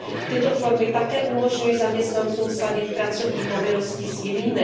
Tyto formy také umožňují zaměstnancům sladit pracovní povinnosti s jinými.